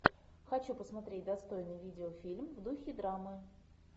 хочу посмотреть достойный видеофильм в духе драмы